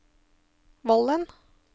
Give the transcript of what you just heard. Vollen